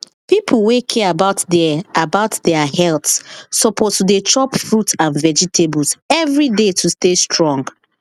people wey care about their about their health suppose to dey chop fruits and vegetables every day to stay strong